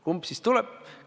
Kumb siis tuleb?